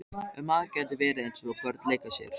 Ef maður gæti verið eins og börnin leika sér.